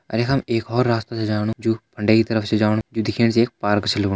अर यखम एक और रास्ता छ जाणु जु फंडे की तरफ छ जाणु जु दिखेण से एक पार्क छ लगणु।